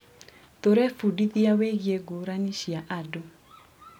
Tũrebundithia wĩgiĩ ngũrani cia andũ.